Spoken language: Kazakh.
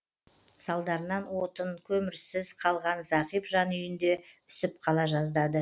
салдарынан отын көмірсіз қалған зағип жан үйінде үсіп қала жаздады